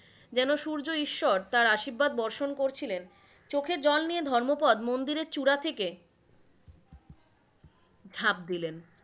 যেন সূর্য ঈশ্বর তার আশীর্বাদ বর্ষণ করছিলেন, চোখে জল নিয়ে ধর্মোপদ মন্দিরের চূড়া থেকে ঝাপ দিলেন,